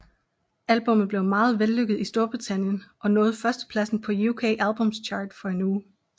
Albummet blev meget vellykket i Storbritannien og nåede førstepladsen på UK Albums Chart for en uge